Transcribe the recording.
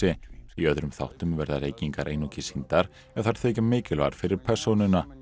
í öðrum þáttum verða reykingar einungis sýndar ef þær þykja mikilvægar fyrir persónuna